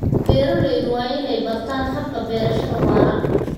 Beeraleydu waa inay bartaan hababka beerashada waara.